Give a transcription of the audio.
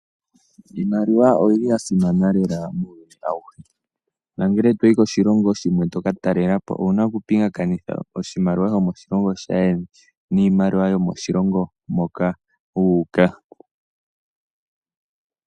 Iimaliwa oyili yasimana lela muuyuni awuhe. Nangele toyi koshilongo shimwe owuna okupingakanitha iimaliwa yomoshilongo shaayeni niimaliwa yomoshilongo moka wuuka.